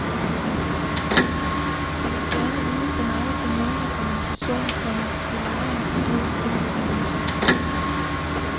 Vi vil gerne vide så meget som muligt om en person, komma vi lejer en bil ud til. punktum